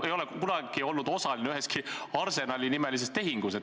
... ega ole kunagi olnud osaline üheski Arsenali-nimelises tehingus.